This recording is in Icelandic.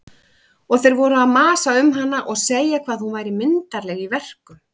Og þeir voru að masa um hana og segja hvað hún væri myndarleg í verkum.